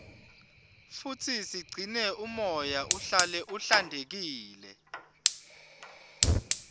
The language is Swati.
futsi sigcine umoya uhlale uhlantekile